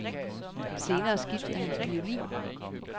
Senere skiftede han til violin.